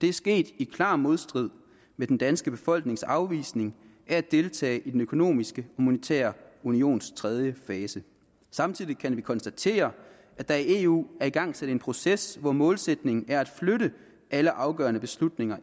er sket i klar modstrid med den danske befolknings afvisning af at deltage i den økonomiske og monetære unions tredje fase samtidig kan vi konstatere at der i eu er igangsat en proces hvor målsætningen er at flytte alle afgørende beslutninger